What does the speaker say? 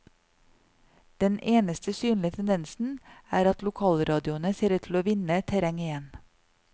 Den eneste synlige tendensen er at lokalradioene ser ut til å vinne terreng igjen.